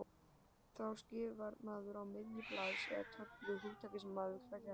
Þá skrifar maður á miðju blaðs eða töflu hugtakið sem maður vill fjalla um.